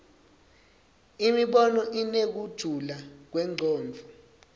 imibono inekujula kwemcondvo